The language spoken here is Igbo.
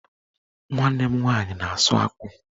Nwanne m nwaanyị na-asụ akpụ